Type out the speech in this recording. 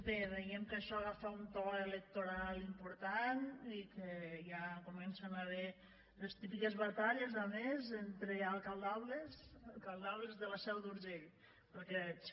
bé veiem que això agafa un to electoral important i que ja hi comencen a haver les típiques batalles a més entre alcaldables alcaldables de la seu d’urgell pel que veig